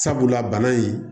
Sabula bana in